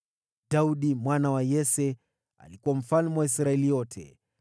Daudi mwana wa Yese alikuwa mfalme wa Israeli yote.